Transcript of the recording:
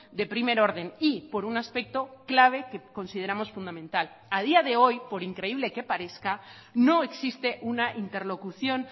de primer orden y por un aspecto clave que consideramos fundamental a día de hoy por increíble que parezca no existe una interlocución